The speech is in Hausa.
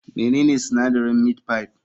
Menene sinadarin meat pie?